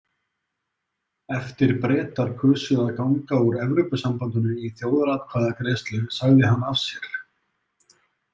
Eftir Bretar kusu að ganga úr Evrópusambandinu í þjóðaratkvæðagreiðslu sagði hann af sér.